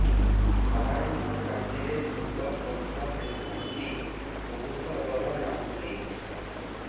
ସାର ମୁ ରାତିରେ ଭୁତ ସ୍ୱପ୍ନ ଦେଖୁଚି ବହୁତ ଡର ଲାଗୁଚି